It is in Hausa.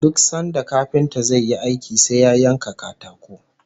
Duk sanda kafinta zai yi aiki sai ya yanka katako